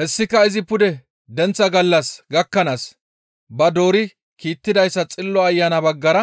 Hessika izi pude denththa gallas gakkanaas ba doori kiittidaytas Xillo Ayana baggara